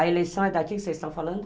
A eleição é daqui que vocês estão falando?